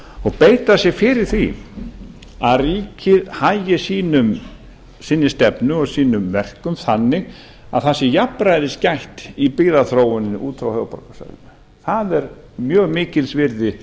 og beita sér fyrir því að ríkið hagi sinni stefnu og sínum verkum þannig að það sé jafnræðis gætt í byggðaþróuninni út frá höfuðborgarsvæðinu það er mjög mikils virði